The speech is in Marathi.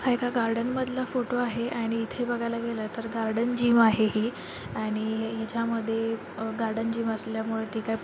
हा एका गार्डन मधला फोटो आहे आणि इथे बघायला गेलो तर गार्डन जिम आहे ही आणि हिच्या मध्ये गार्डन जिम असल्या मुळे ती काय--